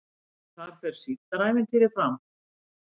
Þar fer Síldarævintýrið fram